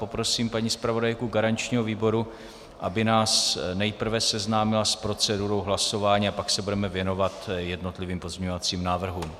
Poprosím paní zpravodajku garančního výboru, aby nás nejprve seznámila s procedurou hlasování, a pak se budeme věnovat jednotlivým pozměňovacím návrhům.